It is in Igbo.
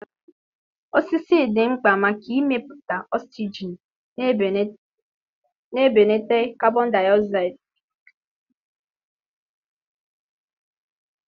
osisi dị mkpa maka imepụta oxygen na ibelata carbon dioxide na ikuku.